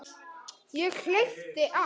Ég hleypti af.